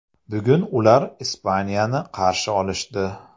Bugun ular Ispaniyani qarshi olishdi.